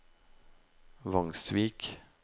Vangsvik